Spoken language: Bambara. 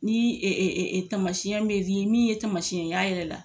Ni tamasiɲɛ me di min ye tamasiɲɛ y'a yɛrɛ la